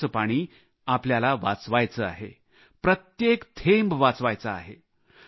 पावसाचे पाणी आपल्याला वाचवायचे आहे प्रत्येक थेंब वाचवायचा आहे